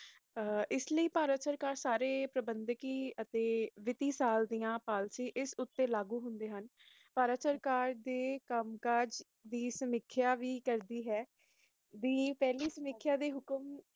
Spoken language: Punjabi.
ਇਸ ਲਈ ਭਾਰਤ ਸਰਕਾਰ ਸਾਰੇ ਪ੍ਰਬੰਧਕੀ